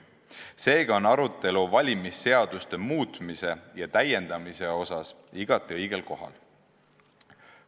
Seega on arutelu valimisseaduste muutmise ja täiendamise osas igati õigel kohal.